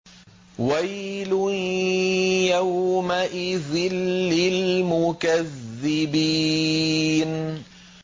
وَيْلٌ يَوْمَئِذٍ لِّلْمُكَذِّبِينَ